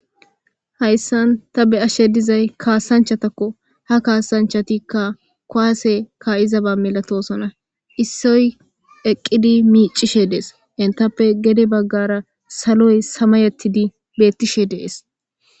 Hayisan ta be'ashe dizayi kanisachatako ku'ase ka'iza ba milatosona issoy eqidi micishe de'es initape gede bagara saloyi samayetidi betishe de'es